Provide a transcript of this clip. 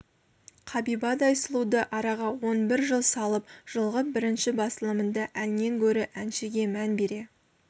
қабибадай сұлуды араға он бір жыл салып жылғы бірінші басылымында әннен гөрі әншіге мән бере